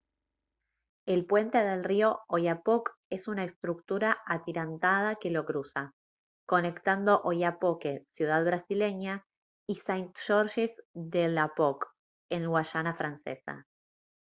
el puente del río oyapock es una estructura atirantada que lo cruza conectando oiapoque ciudad brasileña y saint-georges de l'oyapock en guayana francesa